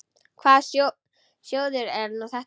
Hvaða sjóður er nú þetta?